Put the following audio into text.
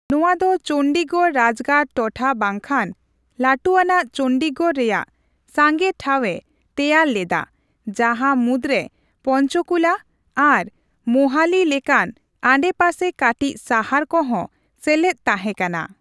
ᱱᱚᱣᱟ ᱫᱚ ᱪᱚᱱᱰᱤᱜᱚᱲ ᱨᱟᱡᱽᱜᱟᱲ ᱴᱚᱴᱷᱟ ᱵᱟᱝᱠᱷᱟᱱ ᱞᱟᱹᱴᱷᱩ ᱟᱱᱟᱜ ᱪᱚᱱᱰᱤᱜᱚᱲ ᱨᱮᱭᱟᱜ ᱥᱟᱸᱜᱮ ᱴᱷᱟᱣᱮ ᱛᱮᱭᱟᱨ ᱞᱮᱫᱟ, ᱡᱟᱦᱟᱸ ᱢᱩᱫᱽᱨᱮ ᱯᱚᱧᱪᱚᱠᱩᱞᱟ ᱟᱨ ᱢᱳᱦᱟᱞᱤ ᱞᱮᱠᱟᱱ ᱟᱰᱮᱯᱟᱥᱮ ᱠᱟᱹᱴᱤᱡ ᱥᱟᱦᱟᱨ ᱠᱚᱦᱚᱸ ᱥᱮᱞᱮᱫ ᱛᱟᱦᱮᱸᱠᱟᱱᱟ ᱾